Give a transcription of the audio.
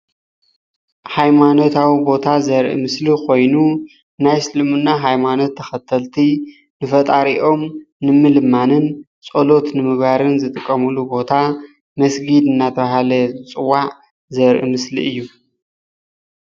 ሃይማኖታዊ ቦታ ዘርኢ ምስሊ ኮይኑ ናይ እስልምና ሃይማኖት ተከተልቲ ንፈጣሪኦም ንምልማንን ፀሎት ንምግባርን ዝጥቀምሉ ቦታ መስጊድ እናተባሃለ ዝፅዋዕ ዘርኢ ምስሊ እዩ ።